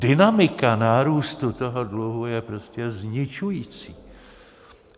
Dynamika nárůstu toho dluhu je prostě zničující.